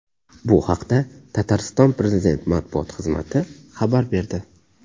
Bu haqda Tatariston prezident matbuot xizmati xabar berdi .